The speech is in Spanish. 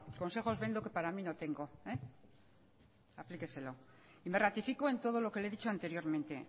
consejos vendo que para mí no tengo aplíqueselo y me ratifico en todo lo que le he dicho anteriormente